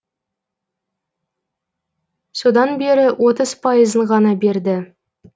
содан бері отыз пайызын ғана берді